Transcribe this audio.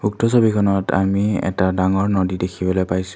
উক্ত ছবিখনত আমি এটা ডাঙৰ নদী দেখিবলৈ পাইছোঁ।